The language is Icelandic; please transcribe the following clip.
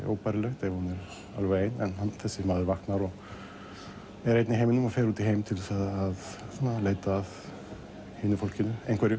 óbærilegt ef hún er alveg ein en þessi maður vaknar og er einn í heiminum fer út í heim til að leita að hinu fólkinu einhverjum